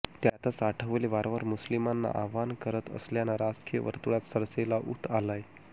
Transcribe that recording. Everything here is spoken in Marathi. त्यातच आठवले वारंवार मुस्लीमांना आवाहन करत असल्यानं राजकीय वर्तुळात चर्चेला ऊत आलाय